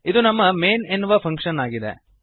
ಇದು ನಮ್ಮ ಮೇನ್ ಎನ್ನುವ ಫಂಕ್ಶನ್ ಆಗಿದೆ